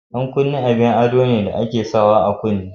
Ɗan kunne abin ado ne da ake sawa a kunne.